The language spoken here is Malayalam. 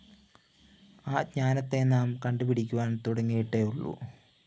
ആ ജ്ഞാനത്തെ നാം കണ്ടുപഠിക്കുവാന്‍ തുടങ്ങിയിട്ടേയുള്ളൂ